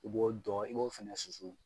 I b'o dɔ i b'o fɛnɛ susu